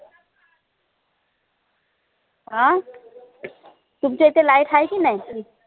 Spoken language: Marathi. अं तुमच्या इथे light हाय की नई